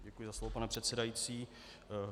Děkuji za slovo, pane předsedající.